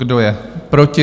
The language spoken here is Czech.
Kdo je proti?